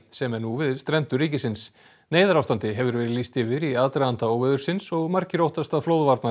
sem er nú við strendur ríkisins neyðarástandi hefur verið lýst yfir í aðdraganda óveðursins og margir óttast að